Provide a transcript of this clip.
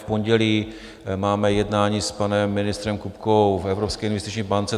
V pondělí máme jednání s panem ministrem Kupkou v Evropské investiční bance.